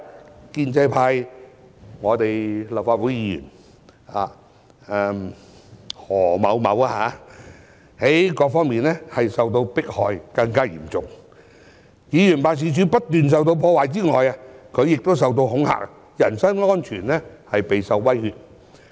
此外，建制派立法會議員何先生各方面受到迫害是更為嚴重的，其議員辦事處不斷受到破壞之外，他亦受到恐嚇，人生安全備受威脅。